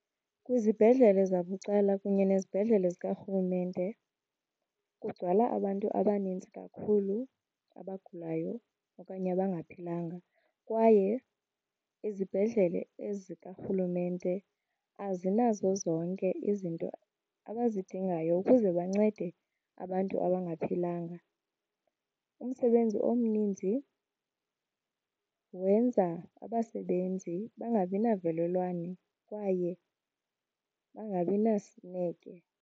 Kwizibhedlele zabucala kunye nezibhedlele zikarhulumente kugcwala abantu abaninzi kakhulu abagulayo okanye abangaphilanga kwaye izibhedlele ezikarhulumente azinazo zonke izinto abazidingayo ukuze bancede abantu abangaphilanga. Umsebenzi omninzi wenza abasebenzi bangabi navelelwane kwaye bangabi nasineke.